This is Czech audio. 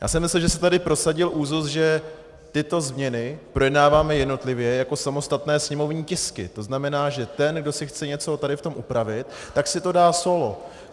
Já jsem myslel, že se tady prosadil úzus, že tyto změny projednáváme jednotlivě jako samostatné sněmovní tisky, to znamená, že ten, kdo si chce něco tady v tom upravit, tak si to dá sólo.